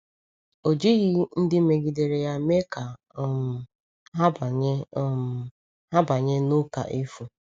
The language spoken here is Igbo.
Ọ jighị ndị megidere ya mee ka um ha banye um ha banye n’ụka efu.